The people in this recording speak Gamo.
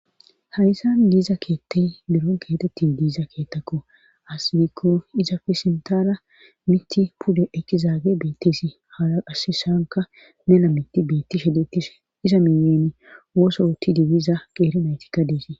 Hayssan diiza keettay biron keetetti diiza keettakko asbiikko iza fesintara mitti pude ekizaage beetteesi hala qasisanka mena mitti beetti shedetishe iza miyen woso ti dibiza qeerinaytikka deesi.